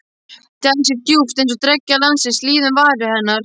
Dæsir djúpt- eins og dreggjar dagsins líði um varir hennar.